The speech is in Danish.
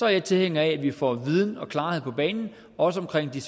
jeg tilhænger af at vi får viden og klarhed på banen også omkring de